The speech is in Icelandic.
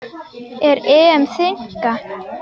Er EM þynnka?